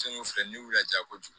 filɛ ni la ja ko